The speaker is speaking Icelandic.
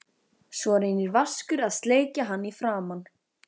Svo reynir Vaskur að sleikja hann í framan.